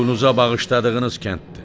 Qulunuza bağışladığınız kənddir.